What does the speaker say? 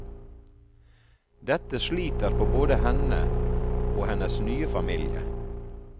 Dette sliter på både henne og hennes nye familie.